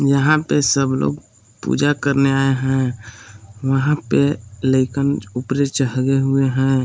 यहां पे सब लोग पूजा करने आए है वहां पे हुए हैं।